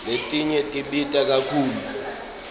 letinye tibita kakhulu